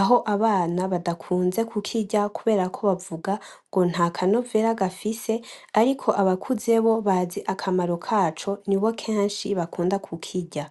aho abana badakunze kukirya kubera ko bavuga ngo ntakanovera gafise ariko abakuze bo bazi akamaro kaco, nibo kenshi bakunda kukirya.